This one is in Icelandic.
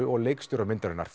og leikstjóra myndarinnar